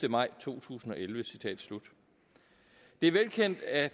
maj to tusind og elleve det er velkendt at